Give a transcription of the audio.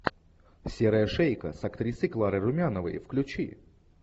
серая шейка с актрисой кларой румяновой включи